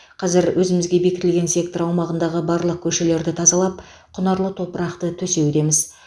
қазір өзімізге бекітілген сектор аумағындағы барлық көшелерді тазалап құнарлы топырақты төсеудеміз